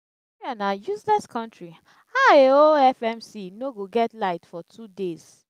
nigeria na useless country how a whole fmc no go get light for two days?